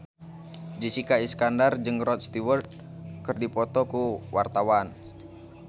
Jessica Iskandar jeung Rod Stewart keur dipoto ku wartawan